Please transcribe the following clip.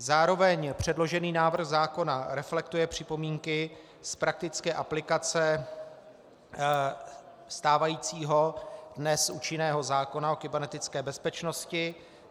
Zároveň předložený návrh zákona reflektuje připomínky z praktické aplikace stávajícího, dnes účinného zákona o kybernetické bezpečnosti.